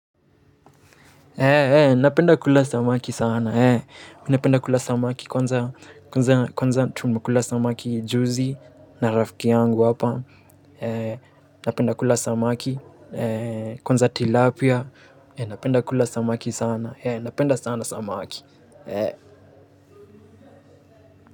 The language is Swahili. Napenda kula samaki sana mimi napenda kula samaki kwanza, kwanza, kwanza tumekula samaki juzi na rafiki yangu hapa, napenda kula samaki, kwanza tilapia napenda kula samaki sana napenda sana samaki.